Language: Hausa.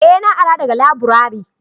eh na ara daga laburare